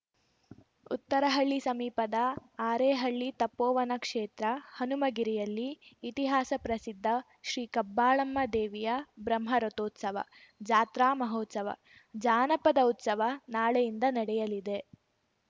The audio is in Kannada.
ಉತ್ತರಹಳ್ಳಿ ಸಮೀಪದ ಅರೇಹಳ್ಳಿ ತಪೋವನಕ್ಷೇತ್ರ ಹನುಮಗಿರಿಯಲ್ಲಿ ಇತಿಹಾಸ ಪ್ರಸಿದ್ಧ ಶ್ರೀ ಕಬ್ಬಾಳಮ್ಮ ದೇವಿಯ ಬ್ರಹ್ಮರಥೋತ್ಸವ ಜಾತ್ರಾಮಹೋತ್ಸವ ಜಾನಪದ ಉತ್ಸವ ನಾಳೆಯಿಂದ ನಡೆಯಲಿದೆ